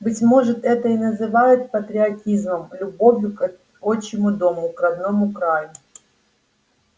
быть может это и называют патриотизмом любовью к отчему дому к родному краю